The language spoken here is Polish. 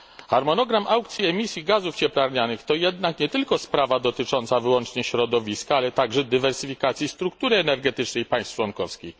Harmonogram aukcji emisji gazów cieplarnianych to jednak nie tylko sprawa dotycząca wyłącznie środowiska, ale także dywersyfikacji struktury energetycznej państw członkowskich.